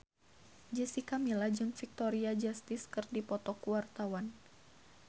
Jessica Milla jeung Victoria Justice keur dipoto ku wartawan